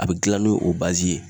A be gilan n'o o bazi ye